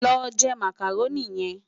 Lò jè Mákároni yèn